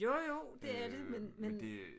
Jo jo det er det men men